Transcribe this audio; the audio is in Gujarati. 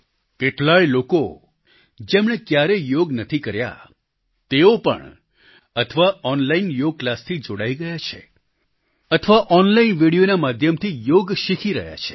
કેટલાયે લોકો જેમણે ક્યારેય યોગ નથી કર્યા તેઓ પણ અથવા ઓનલાઈન યોગ ક્લાસથી જોડાઈ ગયા છે અથવા ઓનલાઈન વીડિયોના માધ્યમથી યોગ શીખી રહ્યા છે